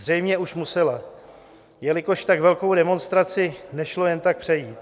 Zřejmě už musela, jelikož tak velkou demonstraci nešlo jen tak přejít.